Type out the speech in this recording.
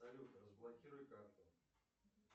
салют разблокируй карту